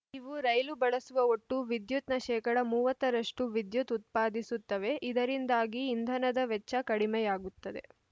ಇವು ರೈಲು ಬಳಸುವ ಒಟ್ಟು ವಿದ್ಯುತ್‌ನ ಶೇಕಡಾ ಮೂವತ್ತರಷ್ಟು ವಿದ್ಯುತ್‌ ಉತ್ಪಾದಿಸುತ್ತವೆ ಇದರಿಂದಾಗಿ ಇಂಧನದ ವೆಚ್ಚ ಕಡಿಮೆಯಾಗುತ್ತದೆ